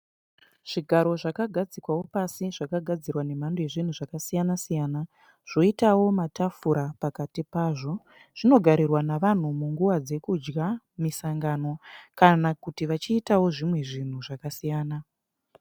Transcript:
Zvigaro zvakagadzikwawo pasi zvakagadzirwa nemhando yezvinhu zvakasiyana siyana, zvoitawo matafura pakati pazvo. Zvinogarirwa navanhu munguva dzekudya, misangano kana kuti vachiitawo zvimwe zvinhu zvakasiyana.